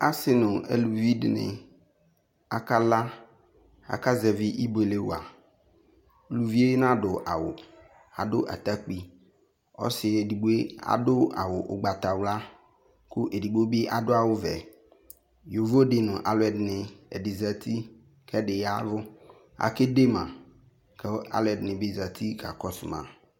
Ase no aluvi de ne aka la Aka zɛvi ibuele wa Uvie nadɔ awu Ado atakpi, Ɔse edigboe ado awu ugbatawla ko edigbo be ado awuvɛ Yovo de no aluɛde ne, ɛde zati ko ɛde yavu Akede ma ko alɛde ne ne zati ka kɔso ma